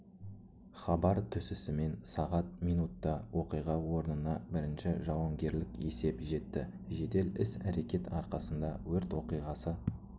хабар түсісімен сағат минутта оқиға орнына бірінші жауынгерлік есеп жетті жедел іс әрекет арқасында өрт оқиғасы